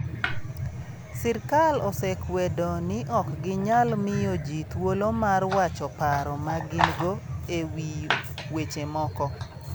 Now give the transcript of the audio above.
Sirkal osekwedo ni ok ginyal miyo ji thuolo mar wacho paro ma gin go e wi weche moko.